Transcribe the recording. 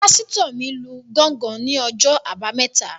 Pásítọ̀ mi lu gángan ní ọjọ́ àbámẹ́ta